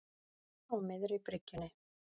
Á miðri bryggjunni.